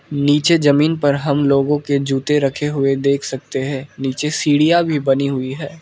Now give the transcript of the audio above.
नीचे जमीन पर हम लोगों के जूते रखे हुए देख सकते हैं नीचे सीढ़ियां भी बनी हुई है।